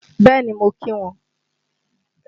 Bẹ́ẹ̀ni, mo kí wọn.